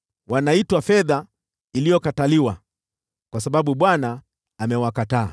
Wanaitwa fedha iliyokataliwa, kwa sababu Bwana amewakataa.”